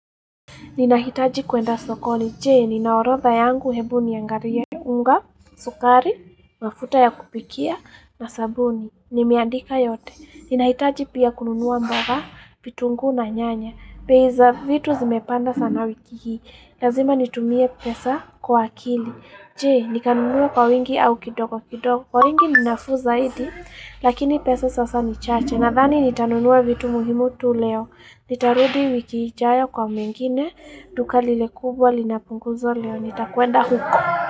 Ninahitaji kuenda sokoni. Je, nina orodha yangu? Hebu niangalie, unga, sukari, mafuta ya kupikia na sabuni. Nimeandika yote. Ninahitaji pia kununua mboga, vitunguu na nyanya. Bei za vitu zimepanda sana wiki hii. Lazima nitumie pesa kwa akili. Je, nikanunue kwa wingi au kidogo kidogo. Kwa wingi ni nafuu zaidi, lakini pesa sasa ni chache. Nadhani nitanunuaa vitu muhimu tu leo. Nitarudi wiki ijayo kwa mengine duka lile kubwa lina punguzo leo nitakwenda huko.